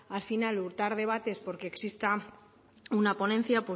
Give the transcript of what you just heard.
al final dar debates por que exista una ponencia